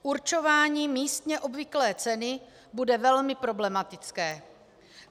Určování místně obvyklé ceny bude velmi problematické.